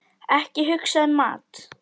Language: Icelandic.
Ekki hugsa um mat!